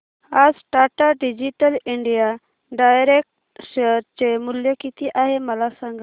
आज Tata digital India direct share चे मूल्य किती आहे मला सांगा